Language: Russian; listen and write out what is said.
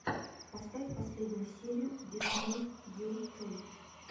поставь последнюю серию дисней ю кей